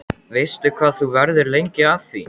Veistu hvað þú verður lengi að því?